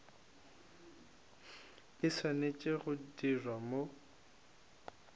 e swanetše go dirwa mo